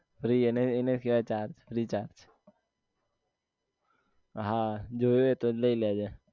Free એને કેવાય free charge હા જોયું એ તો લઇ લેજે